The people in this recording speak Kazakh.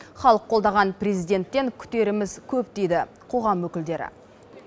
халық қолдаған президенттен күтеріміз көп дейді қоғам өкілдері